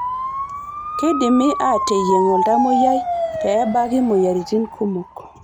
Keidimi aateyieng' oltamoyiai pee ebaki moyiaritin kumok.